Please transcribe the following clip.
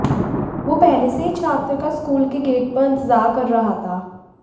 वो पहले से ही छात्र का स्कूल के गेट पर इंतजार कर रहा था